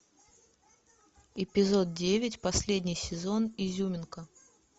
эпизод девять последний сезон изюминка